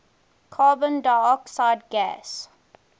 carbon dioxide gas